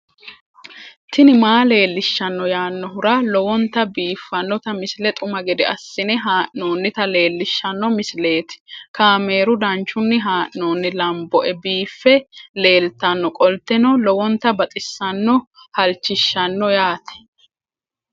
tini maa leelishshanno yaannohura lowonta biiffanota misile xuma gede assine haa'noonnita leellishshanno misileeti kaameru danchunni haa'noonni lamboe biiffe leeeltannoqolten lowonta baxissannoe halchishshanno yaate